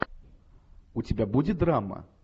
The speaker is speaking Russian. у тебя будет драма